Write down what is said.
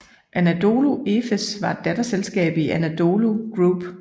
Anadolu Efes er et datterselskab i Anadolu Group